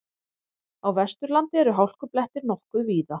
Á Vesturlandi eru hálkublettir nokkuð víða